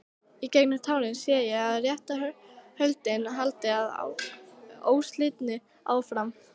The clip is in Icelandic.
Í gegnum tárin sé ég að réttarhöldin halda óslitið áfram.